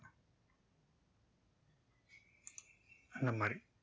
இந்த மாதிரி